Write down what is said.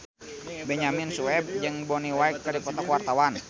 Benyamin Sueb jeung Bonnie Wright keur dipoto ku wartawan